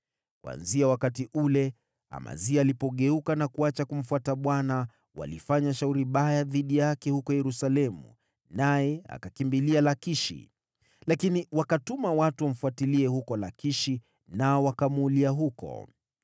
Kuanzia wakati ule Amazia alipogeuka na kuacha kumfuata Bwana walifanya shauri baya dhidi yake huko Yerusalemu naye akakimbilia Lakishi, lakini wakawatuma watu wamfuatilie huko Lakishi nao wakamuulia huko.